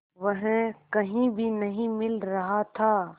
वह कहीं भी नहीं मिल रहा था